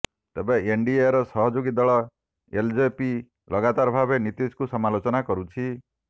ତେବେ ଏନଡିଏର ସହଯୋଗୀ ଦଳ ଏଲଜେପି ଲଗାତର ଭାବେ ନୀତିଶଙ୍କୁ ସମାଲୋଚନା କରୁଛି